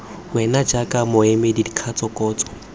wena jaaka moemedi dikatso kgotsa